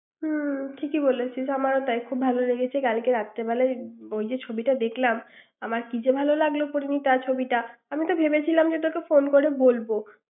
হুম ঠিকই বলেছিস আমারও তাই খুব ভালো লেগেছে কালকে রাত্রি বেলায় ওই যে ছবিটা দেখলাম আমার কি যে ভালো লাগলো পরিণীতা ছবিটা আমি তো ভেবেছিলাম যে তোকে ফোন করে বলবো ৷